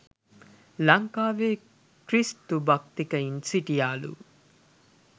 ලංකාවේ ක්‍රිස්තු භක්තිකයින් සිටියාලු